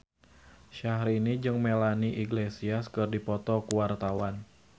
Syaharani jeung Melanie Iglesias keur dipoto ku wartawan